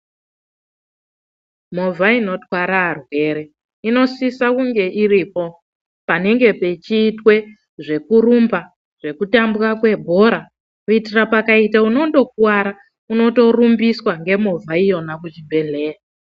Movha inotwara varwere inosisa kunge iripo panenge peitwa zvekurumba zvekutambwa kwebhora kuitira kuti pane akuwara anotorumbiswa nemovha Yona kuchibhehleya .